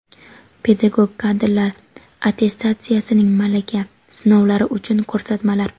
Pedagog kadrlar attestatsiyasining malaka (test) sinovlari uchun ko‘rsatmalar.